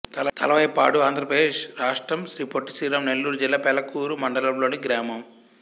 తలవాయిపాడు ఆంధ్ర ప్రదేశ్ రాష్ట్రం శ్రీ పొట్టి శ్రీరాములు నెల్లూరు జిల్లా పెళ్లకూరు మండలం లోని గ్రామం